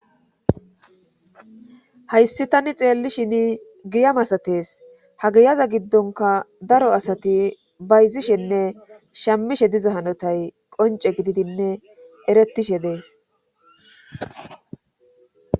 Hayssi tani xeelli shini giya masatees ha geyaza giddonka daro asati bayzishenne shammishe diza hanotay qonce gididinne eretishe dees